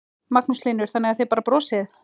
Magnús Hlynur: Þannig að þið bara brosið?